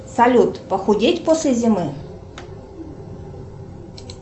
салют похудеть после зимы